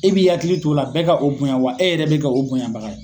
E b'i hakili t'o la bɛɛ ka o bonya ,wa e yɛrɛ bi kɛ o bonya baga ye.